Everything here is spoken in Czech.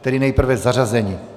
Tedy nejprve zařazení.